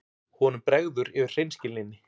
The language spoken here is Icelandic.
Honum bregður yfir hreinskilninni.